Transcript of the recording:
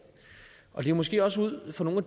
og det er måske også ud fra nogle af